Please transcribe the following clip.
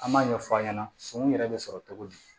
An b'a ɲɛfɔ a ɲɛna sɔmi yɛrɛ bɛ sɔrɔ cogo di